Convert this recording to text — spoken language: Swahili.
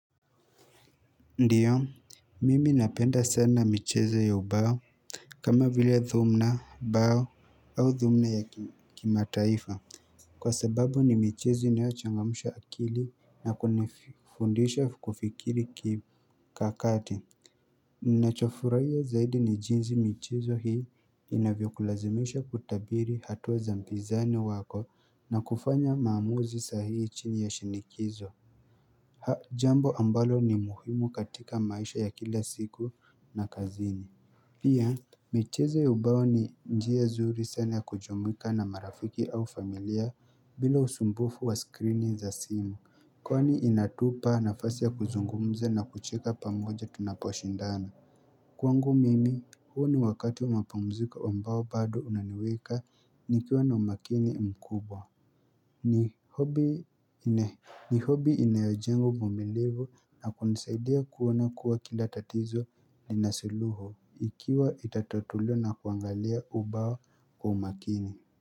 Ndio, mimi napenda sana michezo ya ubao kama vile dhumna bao au dhumna ya kimataifa Kwa sababu ni michezo inayochangamsha akili na kunifundisha kufikiri kakati Ninachofurahia zaidi ni jinzi michezo hii inavyokulazimisha kutabiri hatua za mpizani wako na kufanya maamuzi sahihi chini ya shinikizo jambo ambalo ni muhimu katika maisha ya kila siku na kazini Pia, michezo ya ubao ni njia zuri sana ya kujumuika na marafiki au familia bila usumbufu wa skrini za simu Kwani inatupa nafasi ya kuzungumza na kucheka pamoja tunaposhindana Kwangu mimi, huo ni wakati wa mapumziko ambao bado unaniweka ni kiwa na umakini mkubwa ni hobi inayojenga uvumilivu na kunisaidia kuona kuwa kila tatizo ni nasuluhu ikiwa itatatuliwa na kuangalia ubao kwa umakini.